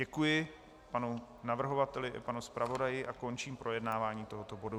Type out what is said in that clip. Děkuji panu navrhovateli i panu zpravodaji a končím projednávání tohoto bodu.